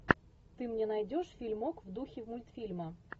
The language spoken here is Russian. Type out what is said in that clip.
ты мне найдешь фильмок в духе мультфильма